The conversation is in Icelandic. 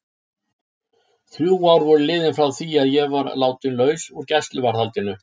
Þrjú ár voru liðin frá því að ég var látin laus úr gæsluvarðhaldinu.